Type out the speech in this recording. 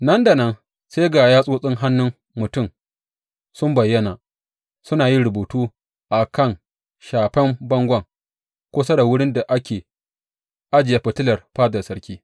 Nan da nan sai ga yatsotsin hannun mutum sun bayyana, suna yin rubutu a kan shafen bangon, kusa da wurin da ake ajiye fitilar fadar sarki.